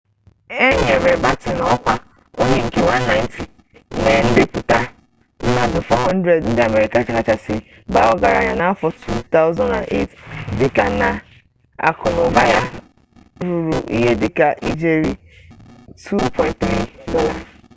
e nyere batten ọkwa onye nke 190 na ndepụta mmadụ 400 ndị amerika kachasị baa ọgaranya n'afọ 2008 dịka na akụnaụba ya ruru ihe dịka ijeri $2.3